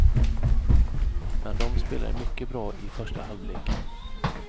Men dom spelade mycket bra i första halvleken.